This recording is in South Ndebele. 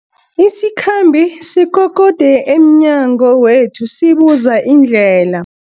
Isikhambi sikokode emnyango wethu sibuza indlela.